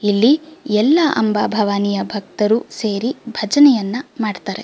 ಇಲ್ಲಿ ಎಲ್ಲ ಅಂಬಾ ಭವಾನಿಯ ಭಕ್ತರು ಸೇರಿ ಭಜನೆಯನ್ನ ಮಾಡುತ್ತಾರೆ.